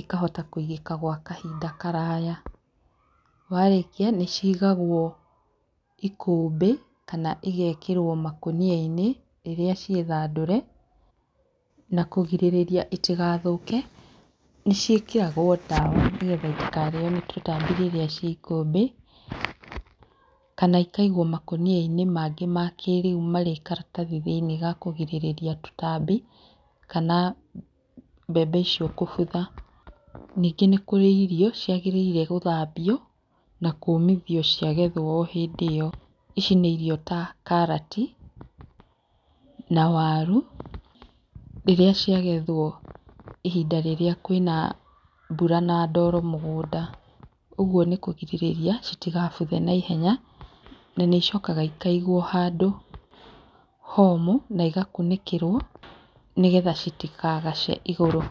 ikahota kũigĩka gwa kahinda karaya. Warĩkia nĩ ciigawo ikũmbĩ kana igeekĩrwo makũnia-inĩ rĩrĩa ciĩ thandũre. Na kũgirĩrĩria itigathũke, nĩ ciĩkĩragwo ndawa nĩgetha itikarĩo nĩ tũtambi rĩrĩa ciĩ ikũmbĩ, kana ikaigwo makũnia-inĩ mangĩ ma kĩrĩu marĩ karatathi thĩiniĩ ga kugirĩrĩria tũtambi, kana mbembe icio kũbutha. Ningĩ nĩ kũrĩ irio ciagĩrĩire gũthambio, na kũũmithio ciagethwo o hĩndĩ ĩyo. Ici nĩ irio ta karati na waru, rĩrĩa ciagethwo ihinda rĩrĩa kwĩna mbura na ndoro mũgũnda. Ũguo nĩ kũgirĩrĩria itigabuthe naihenya. Na nĩ icokaga ikaigwo handũ homũ na igakunĩkĩrwo nĩgetha citikagace igũrũ.